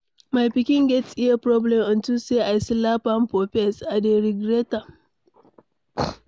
My pikin get ear problem unto say I slap am for face. I dey regret am.